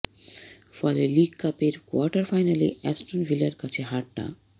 ফলে লিগ কাপের কোয়ার্টার ফাইনালে অ্যাস্টন ভিলার কাছে হারটা